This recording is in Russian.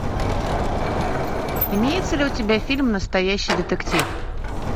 имеется ли у тебя фильм настоящий детектив